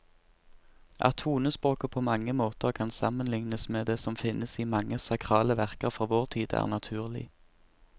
At tonespråket på mange måter kan sammenlignes med det som finnes i mange sakrale verker fra vår tid, er naturlig.